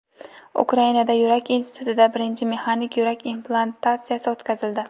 Ukrainada, Yurak institutida birinchi mexanik yurak implantatsiyasi o‘tkazildi.